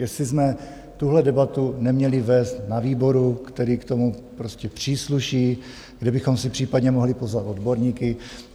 Jestli jsme tuhle debatu neměli vést na výboru, který k tomu prostě přísluší, kde bychom si případně mohli pozvat odborníky.